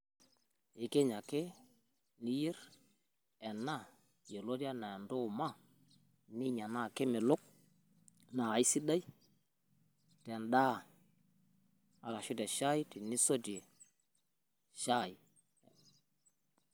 Ikiny ake, niyer, ena, yioloti anaa entuuma, ninya, naa kemelok, naa aisidai tendaa arashu te shai tenisotie shai.